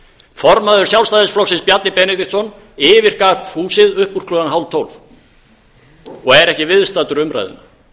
formaður sjálfstæðisflokksins bjarni benediktsson yfirgaf húsið upp úr klukkan hálftólf og er ekki viðstaddur umræðuna